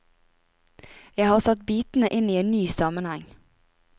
Jeg har satt bitene inn i en ny sammenheng.